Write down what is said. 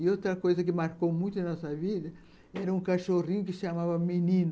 E outra coisa que marcou muito na nossa vida era um cachorrinho que se chamava Menino.